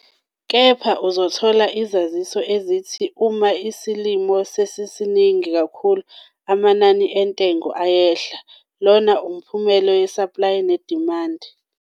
Kepha, uzothola izaziso ezithi uma isilimo sisiningi kakhulu amanani entengo iyehla - lona umphumela 'yesaplayi nedimandi'.